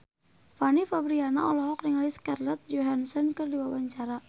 Fanny Fabriana olohok ningali Scarlett Johansson keur diwawancara